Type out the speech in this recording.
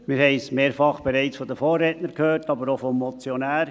Wir haben es von den Vorrednern bereits mehrfach gehört, aber auch vom Motionär.